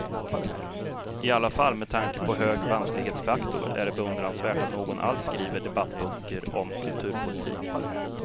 I alla fall, med tanke på hög vansklighetsfaktor är det beundransvärt att någon alls skriver debattböcker om kulturpolitik.